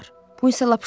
Bu isə lap uşaqdır.